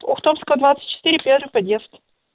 ухтомская двадцать четыре первый подъезд